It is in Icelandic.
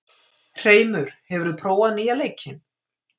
Hreimur, hefur þú prófað nýja leikinn?